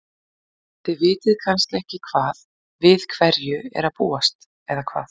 En þið vitið kannski ekki hvað, við hverju er að búast eða hvað?